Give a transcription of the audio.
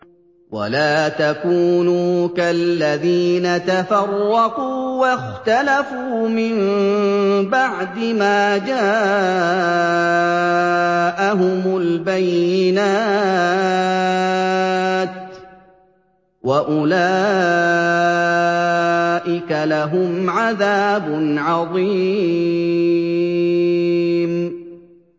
وَلَا تَكُونُوا كَالَّذِينَ تَفَرَّقُوا وَاخْتَلَفُوا مِن بَعْدِ مَا جَاءَهُمُ الْبَيِّنَاتُ ۚ وَأُولَٰئِكَ لَهُمْ عَذَابٌ عَظِيمٌ